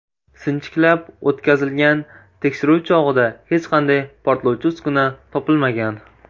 Sinchiklab o‘tkazilgan tekshiruv chog‘ida hech qanday portlovchi uskuna topilmagan.